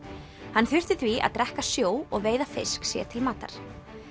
hann þurfti því að drekka sjó og veiða fisk sér til matar